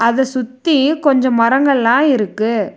அத சுத்தி கொஞ்சோ மரங்கள்லா இருக்கு.